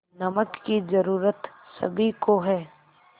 नमक की ज़रूरत सभी को है